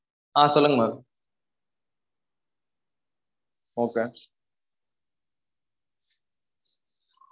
ஆஹ் சொல்லுங்க maam okay